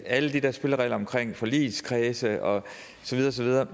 og alle de der spilleregler omkring forligskredse og så videre